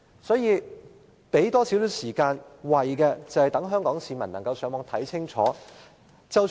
多預留一點時間，可以讓市民上網了解清楚。